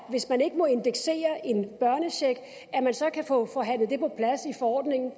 hvis man ikke må indeksere en børnecheck kan få forhandlet i forordningen